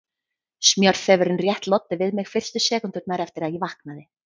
Smjörþefurinn rétt loddi við mig fyrstu sekúndurnar eftir að ég vaknaði.